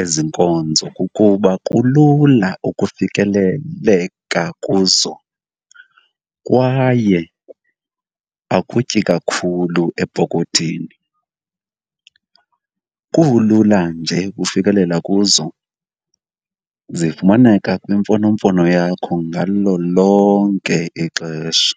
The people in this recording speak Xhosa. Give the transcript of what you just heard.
ezi nkonzo kukuba kulula ukufikeleleka kuzo kwaye akutyi kakhulu epokothini. Kulula nje ufikelela kuzo, zifumaneka kwimfonomfono yakho ngalo lonke ixesha.